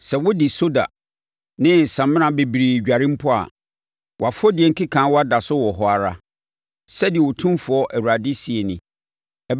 Sɛ wode soda ne samina bebree dware mpo a, wʼafɔdie nkekaawa da so wɔ hɔ ara,” sɛdeɛ Otumfoɔ Awurade seɛ nie.